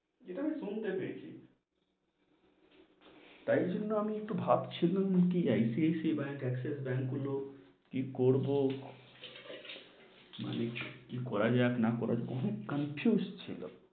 যেটা আমি শুনতে পেয়েছি, তাই জন্য আমি একটু ভাবছিলুম কি ICICI ব্যাঙ্ক, এক্সিস ব্যাঙ্ক গুলো, কি করবো মানে, কি করা যাই আর না করা যাই পুরো confused ছিল,